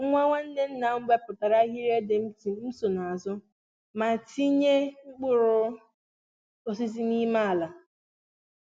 Nwa nwanne nna m n'ewepụta ahiri ,ébé m so n'azụ ma n'etinye mkpụrụ osisi n'ime ala